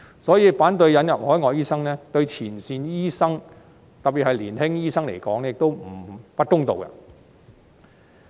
所以，反對引入海外醫生對前線醫生——特別是年輕醫生——來說，亦不公道。